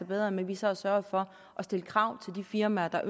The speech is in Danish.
bedre med at vi så har sørget for at stille krav til de firmaer der